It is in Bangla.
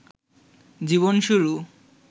জীবন শুরু